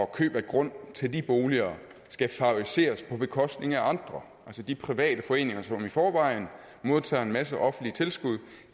køb af grund til de boliger skal favoriseres på bekostning af andre de private foreninger som i forvejen modtager en masse offentlige tilskud